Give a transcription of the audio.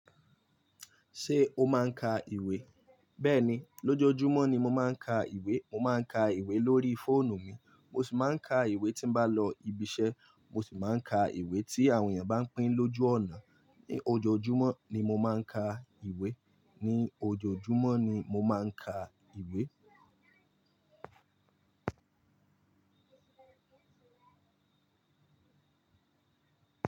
Ṣé o máa ń ka ìwé? Bẹ́ẹ̀ni, lójoójúmọ́ ni mo máa ń ka ìwé. Mo máa ń ka ìwé lórí fóònù mi, mo sì máa ń ka ìwé tí n bá lọ ibiṣẹ́, mo sì máa ń ka ìwé tí àwọn èèyàn bá ń pín lójú ọ̀nà. Ni ojoojúmọ́ ni mo máa ń ka ìwé. Ni ojoojúmọ́ ni mo máa ń ka ìwé.